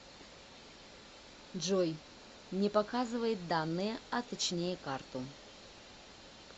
джой не показывает данные а точнее карту